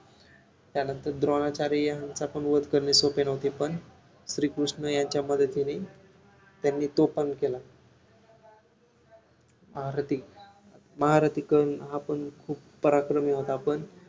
त्यानंतर द्रोणाचार्य यांचा पण वध करणे सोपे नव्हते पण श्री कृष्ण यांच्या मदतीने त्यांनी तो पण केला महारथी महारथी कडून हा पण खूप पराक्रमी होता पण